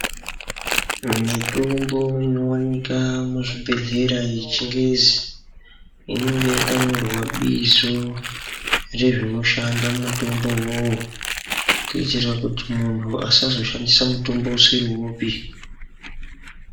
Mitombo inowanika muzvibhedhlera yechingezi inenge yakanyorwa bizo rezvinoshanda mutombo uwowo kuitira kuti muntu asazoshandisa mutombo usiri wopi.